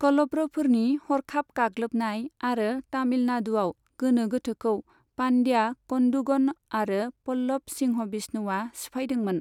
कलब्र'फोरनि हरखाब गाग्लोबनाय आरो तामिलनाडुआव गोनो गोथोखौ पानड्या कन्दुगन आरो पल्लब सिंहबिष्णुआ सिफायदोंमोन।